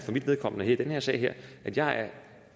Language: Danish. mit vedkommende i den her sag er at jeg er